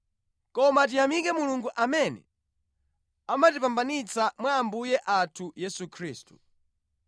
Koma tiyamike Mulungu amene amatipambanitsa mwa Ambuye athu Yesu Khristu.